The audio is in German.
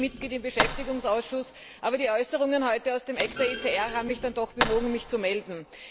Ich bin nicht Mitglied im Beschäftigungsausschuss, aber die Äußerungen heute aus der Ecke der ECR haben mich dann doch bewogen, mich zu melden.